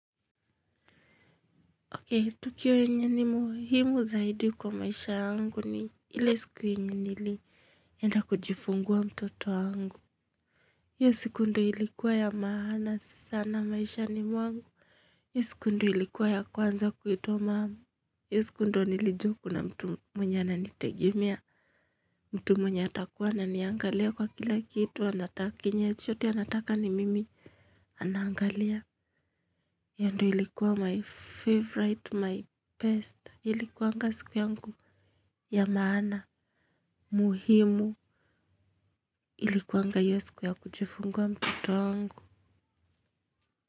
Okay, tukio yenye ni muhimu zaidi kwa maisha yangu ni ile siku yenye nili enda kujifungua mtoto wangu. Hiyo siku ndiyo ilikuwa ya maana sana maisha ni mwangu. Hiyo siku ndiyo ilikuwa ya kwanza kuitwa mum. Hiyo siku ndiyo nilijuwa kuna mtu mwenye ananitegemea. Mtu mwenye atakuwa ananiangalia kwa kila kitu. Kenye chochote anataka ni mimi anangalia. Hiyo ndiyo ilikuwa my favorite, my best. Ilikuanga siku yangu ya maana muhimu ilikuanga hiyo siku ya kujifungua mtoto wangu.